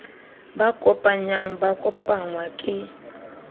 ba kopanyang ba kopangwa ke